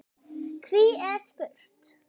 Hví er spurt?